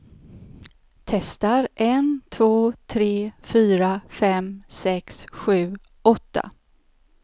Testar en två tre fyra fem sex sju åtta.